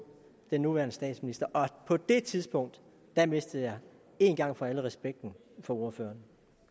den nuværende statsminister på det tidspunkt mistede jeg en gang for alle respekten for ordføreren